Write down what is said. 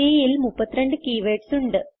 Cൽ 32 keywords ഉണ്ട്